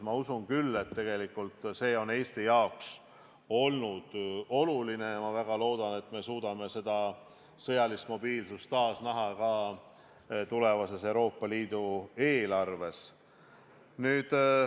Ma usun küll, et see on Eesti jaoks olnud oluline, ja ma väga loodan, et me suudame seda sõjalist mobiilsust taas näha ka tulevases Euroopa Liidu eelarves.